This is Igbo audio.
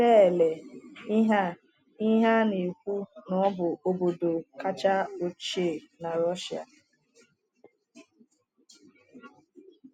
Lelee ihe a ihe a na-ekwu na ọ bụ obodo kacha ochie na Russia.